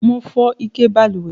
Mo fó ike balùwè